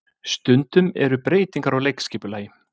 Stundum eru breytingar á leikskipulagi